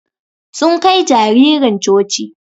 Sun Kai jaririn coci.